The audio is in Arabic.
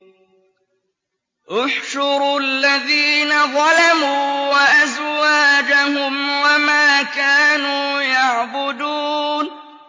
۞ احْشُرُوا الَّذِينَ ظَلَمُوا وَأَزْوَاجَهُمْ وَمَا كَانُوا يَعْبُدُونَ